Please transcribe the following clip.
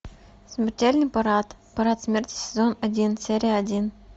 смертельный парад парад смерти сезон один серия один